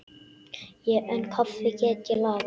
En kaffi get ég lagað.